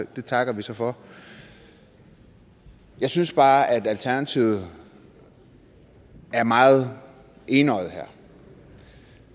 det takker vi så for jeg synes bare at alternativet er meget enøjede her